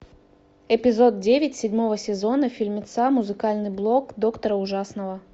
эпизод девять седьмого сезона фильмеца музыкальный блог доктора ужасного